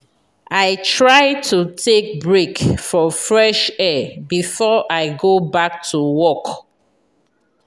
i try to take break for fresh air before i go back to work.